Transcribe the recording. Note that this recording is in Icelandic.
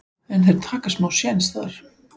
en þeir taka smá séns þar.